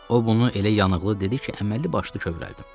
O bunu elə yanıqlı dedi ki, əməlli-başlı kövrəldim.